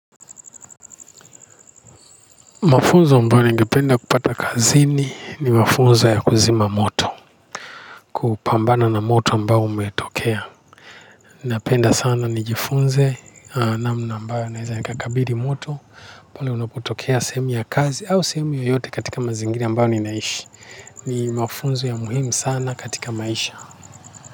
Mafunzo ambayo ningependa kupata kazini ni mafunzo ya kuzima moto kupambana na moto ambao umetokea. Napenda sana nijifunze namna ambayo naeza nikakabili moto. Pale unapotokea sehemu ya kazi au sehemu yoyote katika mazingira ambayo ninaishi. Ni mafunzo ya muhimu sana katika maisha.